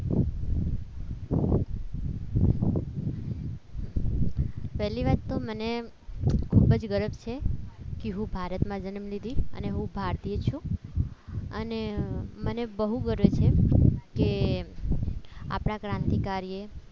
પહેલી વાત તો મને ખૂબ જ ગર્વ છે કે હું ભારતમાં જન્મ લીધી અને હું ભારતીય છું અને મને બહુ ગર્વ છે કે આપણા ક્રાંતિકારીઓ